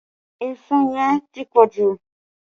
Èṣó yẹn ti pọ jù